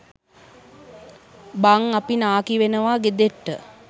බං අපි නාකි වෙනවා ගෙදට්ට